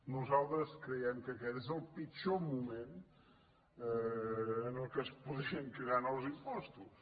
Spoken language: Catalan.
nosaltres creiem que aquest és el pitjor moment en què es podrien crear nous impostos